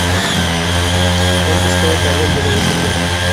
сколько стоит аренда велосипеда